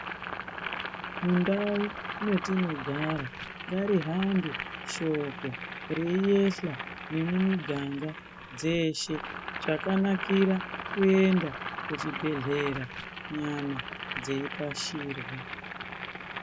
Mundau mwetinogara ngarihambe shoko reiyehla nemumiganga dzeshe. Chakanakira kuenda kuchibhedhera nyama dzipashirwa.